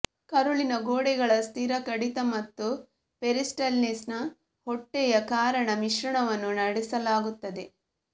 ಕರುಳಿನ ಗೋಡೆಗಳ ಸ್ಥಿರ ಕಡಿತ ಮತ್ತು ಪೆರಿಸ್ಟಲ್ಸಿಸ್ನ ಹೊಟ್ಟೆಯ ಕಾರಣ ಮಿಶ್ರಣವನ್ನು ನಡೆಸಲಾಗುತ್ತದೆ